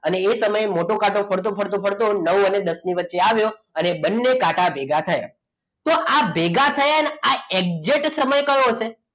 અને એ તમે મોટો કાંટો કાંટો ફરતો ફરતો ફરતો નવો અને દસ ની વચ્ચે આવ્યો અને બંને કાંટા ભેગા થયા તો આ બે ભેગા થયા exact સમય કયો હશે